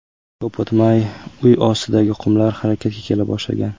Ko‘p o‘tmay, uy ostidagi qumlar harakatga kela boshlagan.